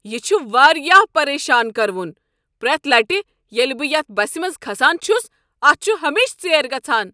یہ چھ واریاہ پریشان کرٕوُن ! پرٛیتھ لٹہ ییٚلہ بہٕ یتھ بسِہ منز گژھان چھس، اتھ چھُ ہمیشہ ژیر گژھان۔